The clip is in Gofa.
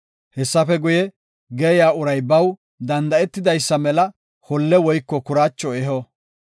Hessafe guye, geeyiya uray baw danda7etidaysa mela holle woyko kuraacho eho.